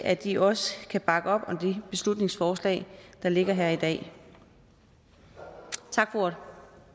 at de også kan bakke op om det beslutningsforslag der ligger her i dag tak for ordet